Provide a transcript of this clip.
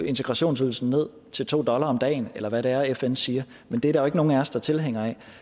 integrationsydelsen ned til to dollar om dagen eller hvad det er fn siger men det er der jo ikke nogen af os der er tilhænger af